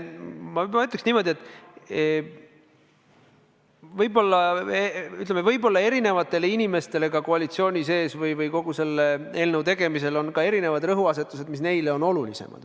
Ma ütleks niimoodi, et võib-olla on erinevatel inimestel ka koalitsiooni sees kogu selle eelnõu tegemisel olnud teatud rõhuasetused, mis neile on olulisemad.